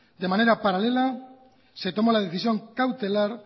de manera paralela se toma la decisión cautelar